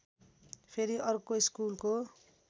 फेरि अर्को स्कुलको